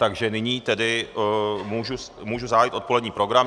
Takže nyní tedy můžu zahájit odpolední program.